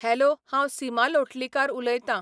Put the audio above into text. Hello हांव सीमा लोटलीकर उलयतां.